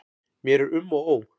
Mér er um og ó.